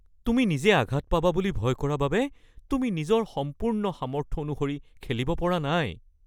তুমি নিজে আঘাত পাবা বুলি ভয় কৰা বাবে তুমি নিজৰ সম্পূৰ্ণ সামৰ্থ্য অনুসৰি খেলিব পৰা নাই (ফুটবল খেলুৱৈৰ প্ৰতি প্ৰশিক্ষক)